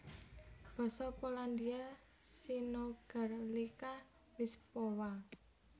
Basa Polandia synogarlica wyspowa